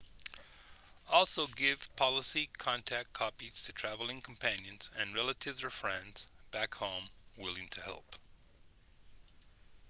also give policy/contact copies to traveling companions and relatives or friends back home willing to help